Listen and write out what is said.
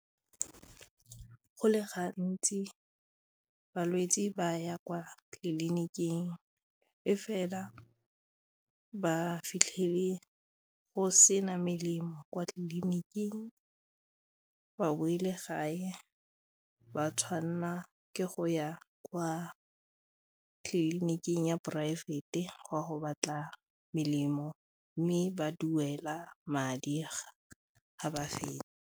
Go le gantsi balwetse ba ya kwa tleliniking e fela ba fitlhele go sena melemo kwa tleliniking, ba boele gae ba tshwanela ke go ya kwa tleliniking ya poraefete go a go batla melemo mme ba duela madi ga ba fetsa.